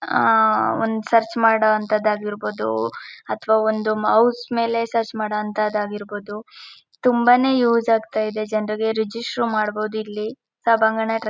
ಆಹ್ಹ್ ಒಂದ್ ಸರ್ಚ್ ಮಾಡೋವಂಥದ್ದು ಆಗಿರ್ಬಹುದು ಅಥವಾ ಒಂದು ಮೌಸ್ ಮೇಲೆ ಸರ್ಚ್ ಮಾಡೋವಂಥದ್ದು ಆಗಿರ್ಬಹುದು ತುಂಬಾನೇ ಯೂಸ್ ಆಗ್ತಾ ಇದೆ ಜನರಿಗೆ ರಿಜಿಸ್ಟರ್ ಮಾಡ್ಬಹುದು ಇಲ್ಲಿ.